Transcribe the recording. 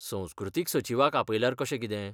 संस्कृतीक सचिवाक आपल्यार कशें कितें?